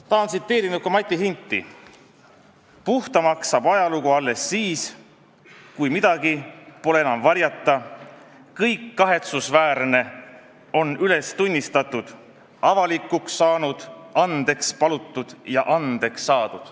Tahan tsiteerida ka Mati Hinti: "Puhtamaks saab ajalugu alles siis, kui midagi pole enam varjata, kõik kahetsusväärne on üles tunnistatud, avalikuks saanud, andeks palutud ja andeks saadud.